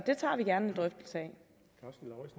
og